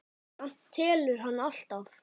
Samt telur hann alltaf.